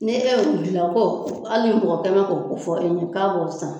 Ne e ye u gilan ko hali ni mɔgɔ tan kɛn mɛ k'o ko fɔ e ɲɛ k'a bɔ san